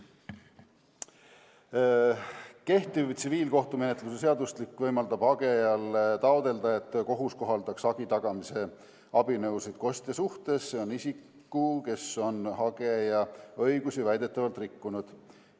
Kehtiv tsiviilkohtumenetluse seadustik võimaldab hagejal taotleda, et kohus kohaldaks hagi tagamise abinõusid kostja suhtes – see on isik, kes on hageja õigusi väidetavalt rikkunud.